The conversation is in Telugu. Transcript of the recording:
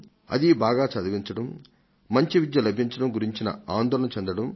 అదీ బాగా చదివించడం మంచి విద్య లభించడం గురించిన ఆందోళన చెందడం